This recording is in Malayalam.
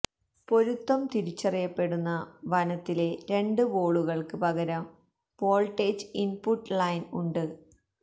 പൊരുത്തം തിരിച്ചറിയപ്പെടുന്ന വനത്തിലെ രണ്ട് വോളുകൾക്ക് പകരം വോൾട്ടേജ് ഇൻപുട്ട് ലൈൻ ഉണ്ട്